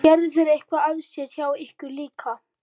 Gerðu þeir eitthvað af sér hjá ykkur líka?